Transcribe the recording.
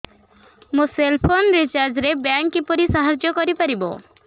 ମୋ cell phone recharge ରେ bank କିପରି ସାହାଯ୍ୟ କରିପାରିବ